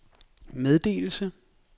meddelelse